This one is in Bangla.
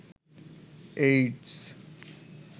এইডস